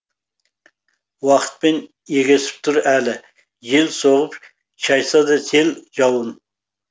уақытпен егесіп тұр әлі жел соғып шайса да сел жауын